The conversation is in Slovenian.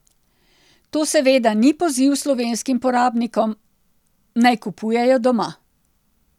To seveda ni poziv slovenskim porabnikom, naj kupujejo doma.